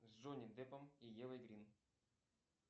с джонни деппом и евой грин